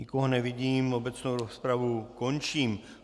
Nikoho nevidím, obecnou rozpravu končím.